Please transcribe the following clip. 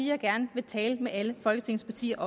jeg gerne vil tale med alle folketingets partier